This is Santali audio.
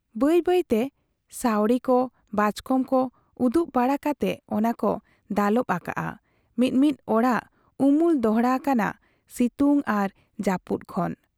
ᱵᱟᱹᱭ ᱵᱟᱹᱭ ᱛᱮ ᱥᱟᱹᱣᱲᱤ ᱠᱚ, ᱵᱟᱪᱠᱚᱢ ᱠᱚ ᱩᱫᱩᱜ ᱵᱟᱲᱟ ᱠᱟᱛᱮ ᱚᱱᱟ ᱠᱚ ᱫᱟᱞᱚᱵ ᱟᱠᱟᱫ ᱟ ᱢᱤ ᱢᱤᱫ ᱚᱲᱟᱜ ᱩᱢᱩᱞ ᱫᱚᱦᱲᱟ ᱟᱠᱟᱱᱟ ᱥᱤᱛᱩᱝ ᱟᱨ ᱡᱟᱯᱩᱫ ᱠᱷᱚᱱ ᱾